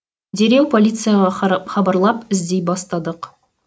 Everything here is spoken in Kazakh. дереу полицияға хабарлап іздей бастадық